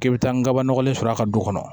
K'i bi taa nkaba nɔgɔlen sɔrɔ a ka du kɔnɔ